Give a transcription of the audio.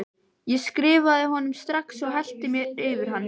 Ég skrifaði honum strax og hellti mér yfir hann.